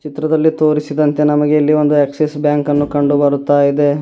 ಚಿತ್ರದಲ್ಲಿ ತೋರಿಸಿದಂತೆ ನಮಗೆ ಇಲ್ಲಿ ಒಂದು ಆಕ್ಸಿಸ್ ಬ್ಯಾಂಕ್ ಅನ್ನು ಕಂಡುಬರುತ್ತಯಿದೆ.